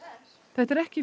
þetta er ekki